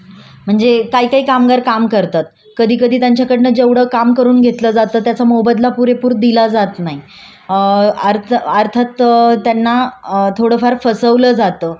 अ आर्ज अर्थात त त्यांना फसवलं जात. कि ठरवलं जात कि दिवसाचा पगार एवढा दिला जाईल आणि. त्यांना पाहिजे तसा देत नाही आणि त्याचा मोबदला त्यांना तसा देत नाही